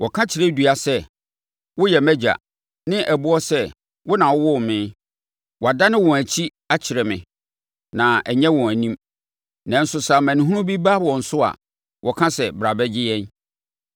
Wɔka kyerɛ dua sɛ, ‘Woyɛ mʼagya,’ ne ɛboɔ sɛ, ‘Wo na wowoo me.’ Wɔadane wɔn akyi akyerɛ me na ɛnyɛ wɔn anim; nanso sɛ amanehunu bi ba wɔn so a, wɔka sɛ, ‘Bra bɛgye yɛn!’